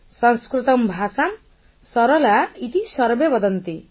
ସଂସ୍କୃତଂ ଭାଷାଂ ସରଲା ଇତି ସର୍ବେ ବଦନ୍ତି